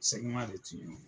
de tiɲɛ nɔ